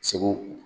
Segu